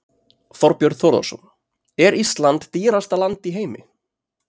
Þorbjörn Þórðarson: Er Ísland dýrasta land í heimi?